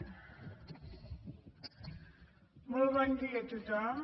molt bon dia a tothom